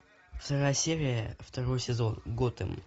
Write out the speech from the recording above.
вторая серия второй сезон готэм